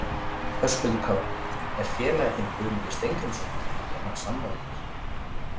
Höskuldur Kári: Er félagi þinn Guðmundur Steingrímsson, er hann sammála þér?